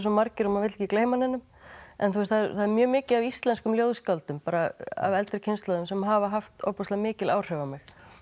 margir að maður vill ekki gleyma neinum en það er mjög mikið af íslenskum ljóðskáldum bara af eldri kynslóðinni sem hafa haft ofboðslega mikil áhrif á mig